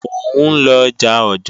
Mò ń lọ ọjà Ọ̀jọ́ọ̀